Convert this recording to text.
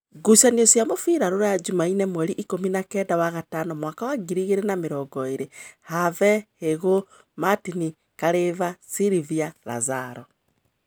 Ngucanio cia mũbira Ruraya Jumaine mweri ikũmi nakenda wa gatano mwaka wa ngiri igĩrĩ na namĩrongoĩrĩ: Have, Hĩgu, Martin, Kalimba, Silvia, Lazarus